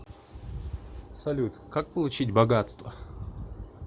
салют как получить богатство